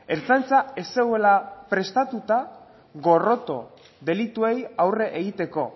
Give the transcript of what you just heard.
ertzaintza ez zegoela prestatuta gorroto delituei aurre egiteko